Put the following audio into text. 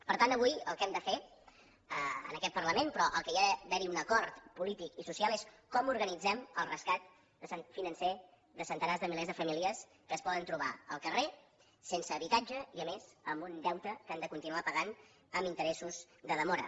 per tant avui el que hem de fer en aquest parlament però en què ha d’haver hi un acord polític i social és com organitzem el rescat financer de centenars de milers de famílies que es poden trobar al carrer sense habitatge i a més amb un deute que han de continuar pagant amb interessos de demora